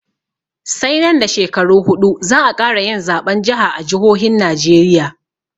Sai nan da shekaru huɗu za'a ƙara yin zaɓen jiha a jihohin najeriya